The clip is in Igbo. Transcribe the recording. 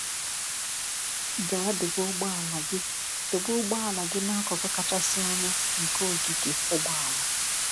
Gaa dobe ụgbọala gị dobe ụgbọala gị n’akụkụ kachasị anya nke ogige ụgbọala.